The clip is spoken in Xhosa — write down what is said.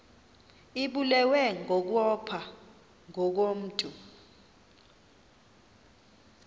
ibulewe kukopha ngokomntu